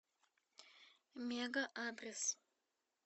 мега адрес